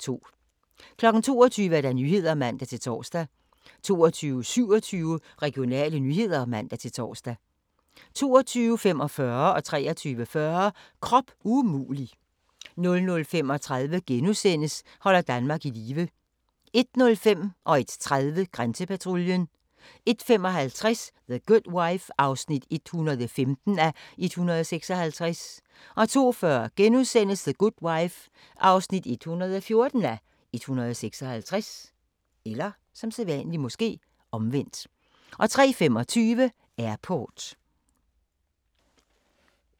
22:00: Nyhederne (man-tor) 22:27: Regionale nyheder (man-tor) 22:45: Krop umulig 23:40: Krop umulig 00:35: Holder Danmark i live * 01:05: Grænsepatruljen 01:30: Grænsepatruljen 01:55: The Good Wife (115:156) 02:40: The Good Wife (114:156)* 03:25: Airport